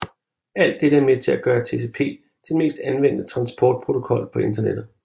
Alt dette er med til at gøre TCP til den mest anvendte transportprotokol på Internettet